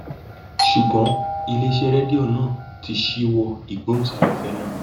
ṣùgbọn iléeṣẹ rédíò náà ti ṣíwọ ìgbóhùnsáfẹfẹ ná